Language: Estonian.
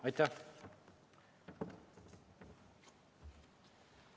Aitäh!